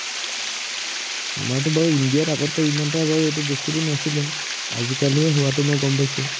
আমাৰটো বাৰু ইন্দিয়াত আগতে ইমান এটা বাৰু এইটো বস্তুটো নাছিলে। আজিকালিহে হোৱাটো মই গম পাইছো।